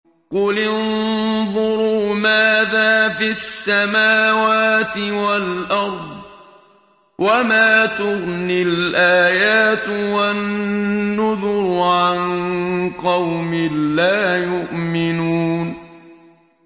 قُلِ انظُرُوا مَاذَا فِي السَّمَاوَاتِ وَالْأَرْضِ ۚ وَمَا تُغْنِي الْآيَاتُ وَالنُّذُرُ عَن قَوْمٍ لَّا يُؤْمِنُونَ